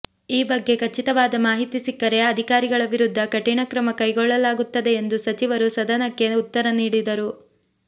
ಈ ಬಗ್ಗೆ ಖಚಿತವಾದ ಮಾಹಿತಿ ಸಿಕ್ಕರೆ ಅಧಿಕಾರಿಗಳ ವಿರುದ್ಧ ಕಠಿಣ ಕ್ರಮ ಕೈಗೊಳ್ಳಲಾಗುತ್ತದೆ ಎಂದು ಸಚಿವರು ಸದನಕ್ಕೆ ಉತ್ತರ ನೀಡಿದರು